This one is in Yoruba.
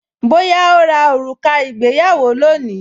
Bóyá ó ra òrùka ìgbéyàwó lónìí